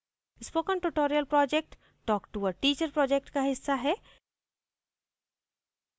spoken tutorial project talktoa teacher project का हिस्सा है